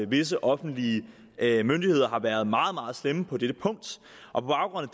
visse offentlige myndigheder har været meget meget slemme på dette punkt og på baggrund